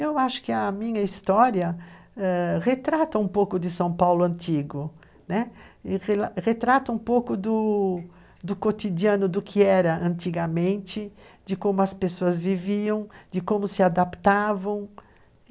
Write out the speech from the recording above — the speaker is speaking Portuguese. Eu acho que a minha história ãh retrata um pouco de São Paulo antigo, retrata um pouco do do cotidiano do que era antigamente, de como as pessoas viviam, de como se adaptavam.